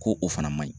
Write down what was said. Ko o fana man ɲi